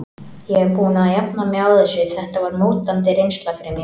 Ég er búinn að jafna mig á þessu, þetta var mótandi reynsla fyrir mig.